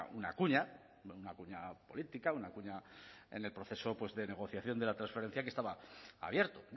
una cuña una cuña política una cuña en el proceso de negociación de la transferencia que estaba abierto